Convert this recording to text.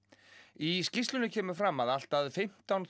í skýrslunni kemur fram að allt að fimmtán